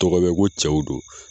Tɔgɔ bɛ ko cɛw don